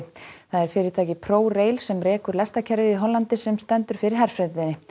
það er fyrirtækið sem rekur lestarkerfið í Hollandi sem stendur fyrir herferðinni